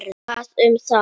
Hvað um það.